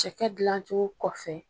Cɛkɛ dilancogo kɔfɛ.